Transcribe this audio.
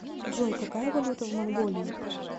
джой какая валюта в монголии